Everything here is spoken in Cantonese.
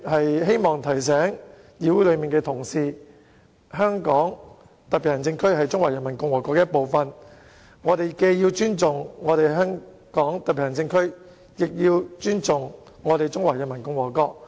我希望提醒本會同事，香港特別行政區是中華人民共和國的一部分，我們既要尊重香港特別行政區，也要尊重中華人民共和國。